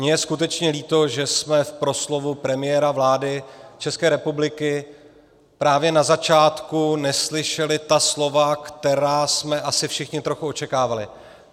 Mně je skutečně líto, že jsme v proslovu premiéra vlády České republiky právě na začátku neslyšeli ta slova, která jsme asi všichni trochu očekávali.